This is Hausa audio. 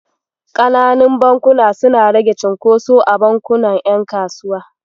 Ƙananun bankuna suna rage cunkoso a bankunan ƴan kasuwa.